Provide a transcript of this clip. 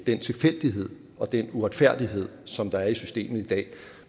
den tilfældighed og den uretfærdighed som der er i systemet i dag